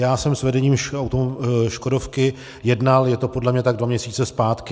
Já jsem s vedením Škodovky jednal, je to podle mě tak dva měsíce zpátky.